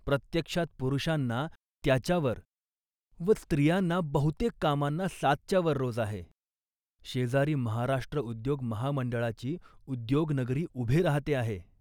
प्रत्यक्षात पुरुषांना त्याच्यावर व स्त्रियांना बहुतेक कामांना सातच्या वर रोज आहे. शेजारी महाराष्ट्र उद्योग महामंडळाची उद्योगनगरी उभी राहते आहे